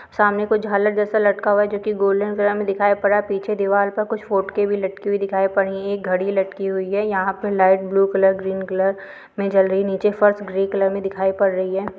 सामने कोई झालर जैसा लटका हुआ है जो कि गोल्डन कलर में दिखाई पड़ रहा है पीछे दीवाल पे कुछ फोटके भी लटकी हुई दिखाई पड़ रही है एक घड़ी लटकी हुई है यहाँ पे light blue colour green colour में जल रही नीचे फर्श ग्रे कलर में दिखाई पड़ रही है।